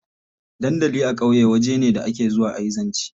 Dandali a ƙauye waje ne da ake zuwa a yi zance.